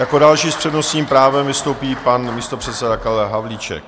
Jako další s přednostním právem vystoupí pan místopředseda Karel Havlíček.